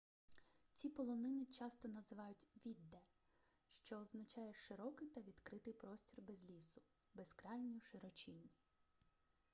ці полонини часто називають vidde що означає широкий та відкритий простір без лісу безкрайню широчінь